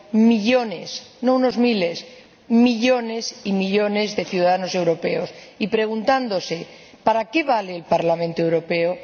millones, no, unos miles, millones y millones de ciudadanos europeos y se preguntarán ¿para qué sirve el Parlamento Europeo?